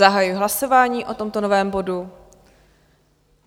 Zahajuji hlasování o tomto novém bodu.